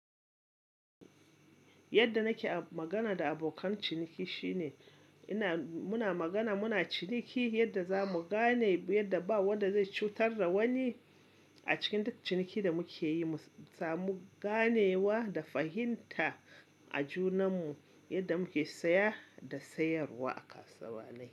Yadda nake a magana da abokan ciniki shine ina-- muna magana muna ciniki yadda za mu gane yadda ba wanda zai cutar da wani. A cikin duk ciniki da muke yi, mu samu ganewa da fahimta a junan mu yadda muke saya da sayarwa a kasuwa na yi.